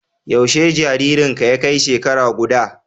Yaushe jaririnka ya kai shekara guda?